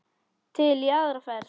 Til í aðra ferð.